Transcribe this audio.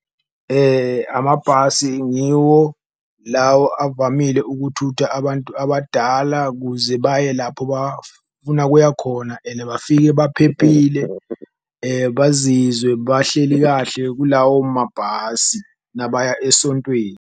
Amabhasi ngiwo lawo avamile ukuthutha abantu abadala kuze baye lapho bafuna kuya khona ene bafike baphephile, bazizwe bahleli kahle kulawo mabhasi nabaya esontweni.